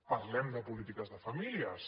parlem de polítiques de famílies